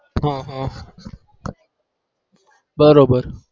હ હ બરોબર